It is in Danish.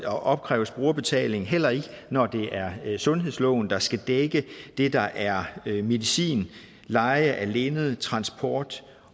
opkræves brugerbetaling heller ikke når det er sundhedsloven der skal dække det der er medicin leje af linned transport